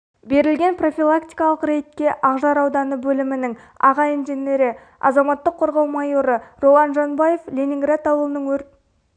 берілген профилактикалық рейдке ақжар ауданы бөлімінің аға инженері азаматтық қорғау майоры ролан жанбаев ленинград ауылының өрт